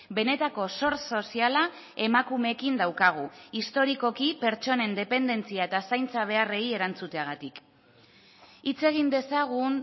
benetako zor soziala emakumeekin daukagu historikoki pertsonen dependentzia eta zaintza beharrei erantzuteagatik hitz egin dezagun